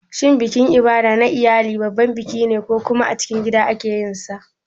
Shin bikin Ibada na iyali babban biki ne ko kuma a cikin gida ake yin sa?